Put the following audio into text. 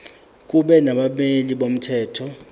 kube nabameli bomthetho